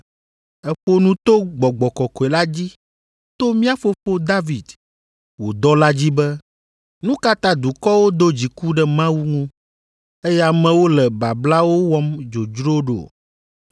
Èƒo nu to Gbɔgbɔ kɔkɔe la dzi, to mía fofo David, wò dɔla dzi be, “ ‘Nu ka ta dukɔwo do dziku ɖe Mawu ŋu, eye amewo le bablawo wɔm dzodzro ɖo?